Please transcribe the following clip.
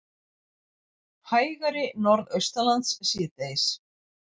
Hægari Norðaustanlands síðdegis